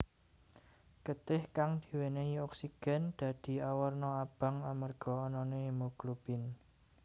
Getih kang diwènèhi oksigen dadi awarna abang amarga anané hemoglobin